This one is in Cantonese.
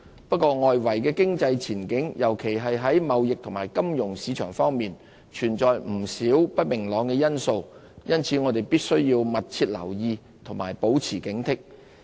不過，外圍經濟前景，尤其在貿易和金融市場方面，存在不少不明朗因素，因此我們必須密切留意，保持警惕。